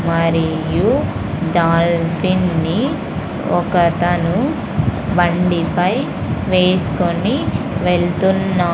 మరియు డాల్ఫిన్ ని ఒకతను బండిపై వేస్కొని వెళ్తున్నా --